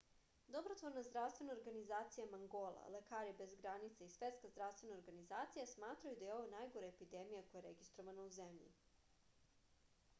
dobrotvorna zdravstvena organizacija mangola lekari bez granica i svetska zdravstvena organizacija smatraju da je ovo najgora epidemija koja je registrovana u zemlji